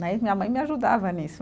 Né, e minha mãe me ajudava nisso.